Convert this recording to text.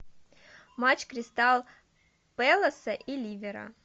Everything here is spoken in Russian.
матч кристал пэласа и ливера